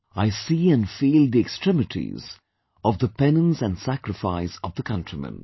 I see and feel the extremities of the penance and sacrifice of the countrymen